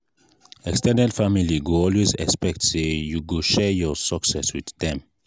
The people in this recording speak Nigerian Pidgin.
ex ten ded family go always expect say you go share your success with dem.